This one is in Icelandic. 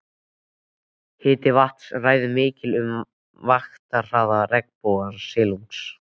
Hiti vatns ræður miklu um vaxtarhraða regnbogasilungs.